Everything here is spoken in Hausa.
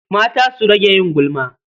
Mata su rage yin gulma.